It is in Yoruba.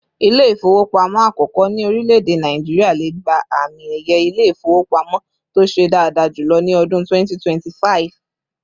İle-ifowopamo àkókò ni orìleede Nigeria lè gbà àmín ẹyẹ Ilé-ifowopamo tó ṣe daada julọ ni ọdún 2025